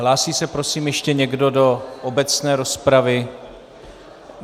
Hlásí se prosím ještě někdo do obecné rozpravy?